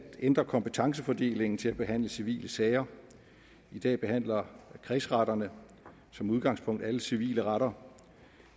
ændre kompetencefordelingen til at behandle civile sager i dag behandler kredsretterne som udgangspunkt alle civile retter